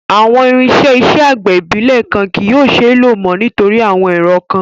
Awọn irinṣẹ iṣẹ agbẹ ibilẹ kan kii yóò ṣee lo mọ nitori awọn ẹrọ kan